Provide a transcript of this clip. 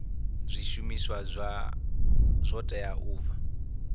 zwishumiswa zwo teaho u bva